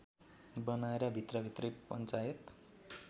बनाएर भित्रभित्रै पञ्चायत